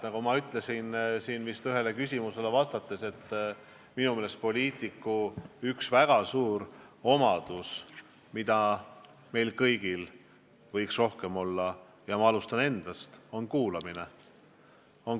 Nagu ma vist ütlesin ühele küsimusele vastates, minu meelest üks väga tähtis omadus, mida meil, poliitikutel, võiks rohkem olla – ja ma alustan endast –, on kuulamine.